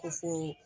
Ko fo